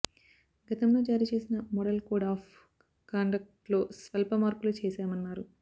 గతంలో జారీ చేసిన మోడల్ కోడ్ ఆఫ్ కాండక్ట్లో స్వల్ప మార్పులు చేశామన్నారు